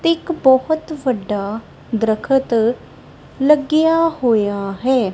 ਤੇ ਇੱਕ ਬਹੁਤ ਵੱਡਾ ਦਰਖਤ ਲੱਗਿਆ ਹੋਇਆ ਹੈ।